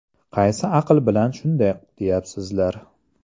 Qaysi aql bilan shunday deyapsizlar?